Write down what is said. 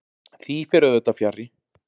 Því fer auðvitað fjarri.